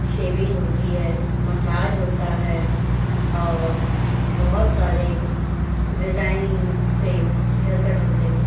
Saving होती है। मसाज होता है और बहुत सारे डिजाइन से हेयर कट होते हैं।